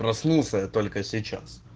проснулся только сейчас